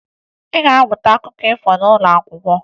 Ị ga-amụta akụkọ ifo n'ụlọ akwụkwọ